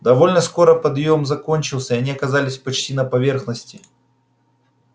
довольно скоро подъём закончился они оказались почти на поверхности